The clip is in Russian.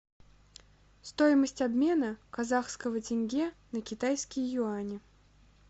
стоимость обмена казахского тенге на китайские юани